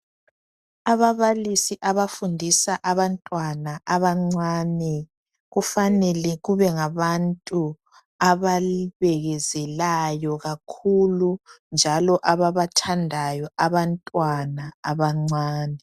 Ababalisi abafundisa abantwana abancane kufanele kube ngabantu ababekezelayo kakhulu njalo ababathandayo abantwana abancane.